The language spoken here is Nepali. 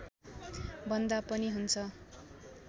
भन्दा पनि हुन्छ